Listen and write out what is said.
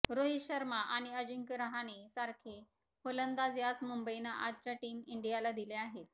रोहित शर्मा आणि अजिंक्य रहाणेसारखे फलंदाज याच मुंबईनं आजच्या टीम इंडियाला दिले आहेत